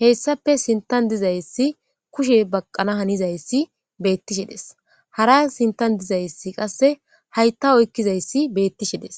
heyssape sintan dizayssi kushe baqqana hanizayssi beettishedes hara sintan dizayssi qasse haytta oykkizayssi beettishedes.